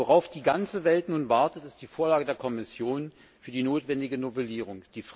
Worauf die ganze Welt nun wartet, ist die Vorlage der Kommission für die notwendige Novellierung.